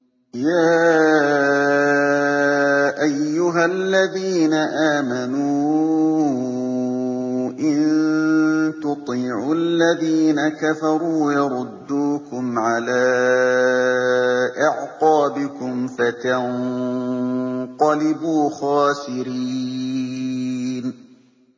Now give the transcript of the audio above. يَا أَيُّهَا الَّذِينَ آمَنُوا إِن تُطِيعُوا الَّذِينَ كَفَرُوا يَرُدُّوكُمْ عَلَىٰ أَعْقَابِكُمْ فَتَنقَلِبُوا خَاسِرِينَ